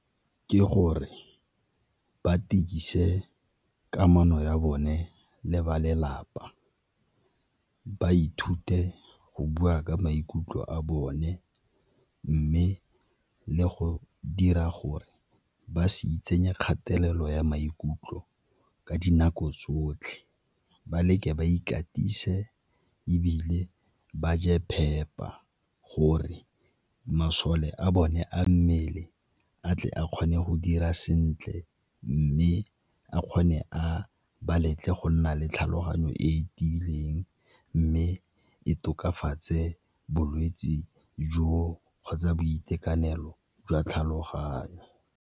Ke gore ba tiise kamano ya bone le ba lelapa, ba ithute go bua ka maikutlo a bone mme le go dira gore ba se itsenye kgatelelo ya maikutlo ka dinako tsotlhe, ba leke ba ikatise ebile ba je phepa gore masole a bone a mmele a tle a kgone go dira sentle, mme a kgone a ba letle go nna le tlhaloganyo e tiileng, mme e tokafatse bolwetse jo kgotsa boitekanelo jwa tlhaloganyo.